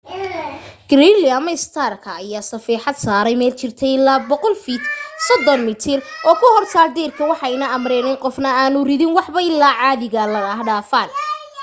gridley ama starka ayaa safeexad saaray meel jirta ilaa 100 feet 30 m oo ku hortaal deyrka waxayna amreen in qofna aanu ridin waxba ilaa dadka caadiga ah dhaafaan